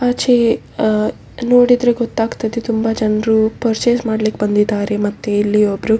ಆಚೆ ಆ ನೋಡಿದ್ರೆ ಗೊತ್ತಾಗ್ತದೆ ತುಂಬ ಜನ್ರು ಪರ್ಚೇಸ್‌ ಮಾಡ್ಲಿಕ್ ಬಂದಿದ್ದಾರೆ ಮತ್ತೆ ಇಲ್ಲಿ ಒಬ್ರು.